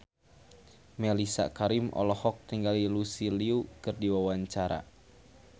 Mellisa Karim olohok ningali Lucy Liu keur diwawancara